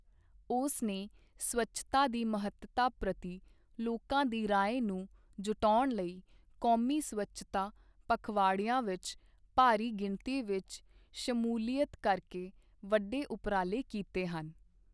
ਉਸ ਨੇ ਸਵੱਛਤਾ ਦੀ ਮਹੱਤਤਾ ਪ੍ਰਤੀ ਲੋਕਾਂ ਦੀ ਰਾਏ ਨੂੰ ਜੁਟਾਉਣ ਲਈ, ਕੌਮੀ ਸਵੱਛਤਾ ਪਖਵਾੜਿਆਂ ਵਿੱਚ ਭਾਰੀ ਗਿਣਤੀ ਵਿੱਚ ਸ਼ਮੂਲੀਅਤ ਕਰਕੇ ਵੱਡੇ ਉਪਰਾਲੇ ਕੀਤੇ ਹਨ।